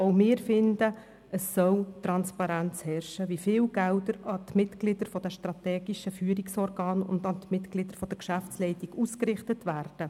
Auch wir finden, es soll Transparenz darüber herrschen, wie viele Gelder an die Mitglieder der strategischen Führungsorgane und der Geschäftsleitung ausgerichtet werden.